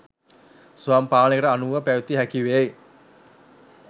ස්වයං පාලනයකට අනුව පැවැතිය හැකිවේ.